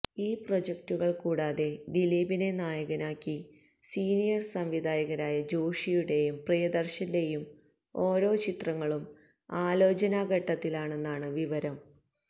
ഈ പ്രോജക്ടുകള് കൂടാതെ ദിലീപിനെ നായകനാക്കി സീനിയര് സംവിധായകരായ ജോഷിയുടെയും പ്രിയദര്ശന്റെയും ഓരോ ചിത്രങ്ങളും ആലോചനാ ഘട്ടത്തിലാണെന്നാണ് വിവരം